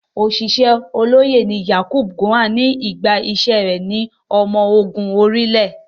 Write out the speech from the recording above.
Ọ̀ṣìṣẹ́ olóyè ni Yakubu Gowon nígbà iṣẹ́ rẹ̀ ní ọmọ ológun orí ilẹ̀.